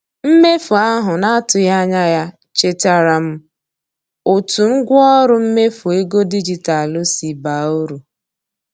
Mmefu ahụ na-atụghị anya ya chetaara m otu ngwaọrụ mmefu ego dijitalụ si baa uru.